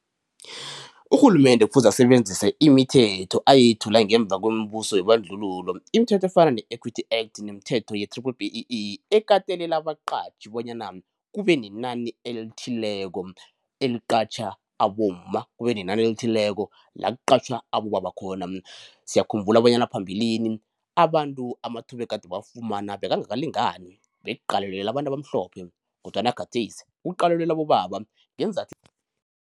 Urhulumende kufuze asebenzise imithetho ayethula ngemva kombuso webandlululo imithetho efana ne-Equity Act nemithetho ye-triple B_E_E ekatelela abaqatjhi bonyana kube nenani elithileko eliqatjha abomma, kube nenani elithileko la kuqatjhwa abobaba khona. Siyakhumbula bonyana phambilini abantu amathuba egada bawafumana bekangakalingani bekuqalelelwe abantu abamhlophe kodwana gadesi kuqalelelwe abobaba ngeenzathu